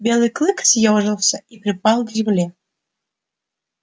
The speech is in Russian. белый клык съёжился и припал к земле